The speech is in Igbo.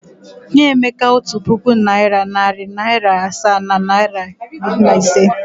Nye Emeka otu puku naịra, narị naịra asaa na naịra iri na ise!